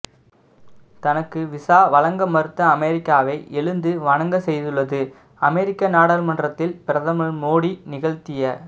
தனக்கு விசா வழங்க மறுத்த அமெரிக்காவை எழுந்து வணங்க செய்துள்ளது அமெரிக்க நாடாளுமன்றத்தில் பிரதமர் மோடி நிகழ்த்திய